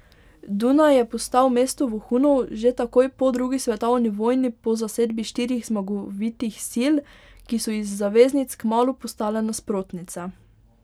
Dunaj je postal mesto vohunov že takoj po drugi svetovni vojni po zasedbi štirih zmagovitih sil, ki so iz zaveznic kmalu postale nasprotnice.